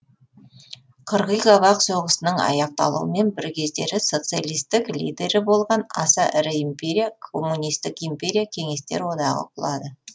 қырғи қабақ соғысының аяқталуымен бір кездері социалистік лидері болған аса ірі империя коммунистік империя кеңестер одағы құлады